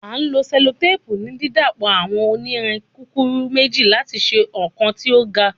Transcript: A lo sellotape ni didapọ awọn onirin kukuru meji lati ṣe ọkan ti o gun